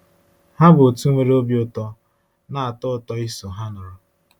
Ha bụ òtù nwere obi ụtọ, na-atọ ụtọ iso ha nọrọ.